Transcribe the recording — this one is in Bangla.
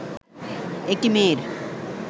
একটি মেয়ের